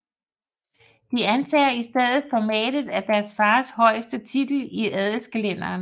De antager i stedet formatet af deres fars højeste titel i adelskalenderen